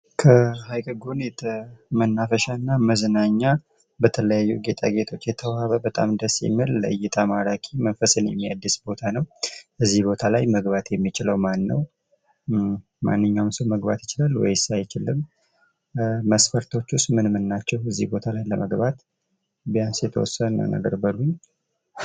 ከሀይቅ ጎን መናፈሻ እና መዝናኛ በጣም የተዋበ እና በጣም ደስ የሚል ለእይታ ማራኪ መንፈስን የሚያድስ ቦታ ነው። እዚህ ቦታ ላይ መግባት የሚችለው ማን ነው? ማንኛዉም ሰው መግባት ይቻላል ወይስ አይችልም ? መሥፈርቶቹስ ምን ምን ናቸው ? ቢያንስ የተወሰነ ነገር በሉኝ።